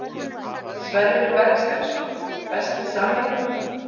Sverrir Bergsteinsson Besti samherjinn?